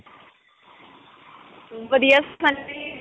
ਵਧੀਆ ਸੰਨੀ .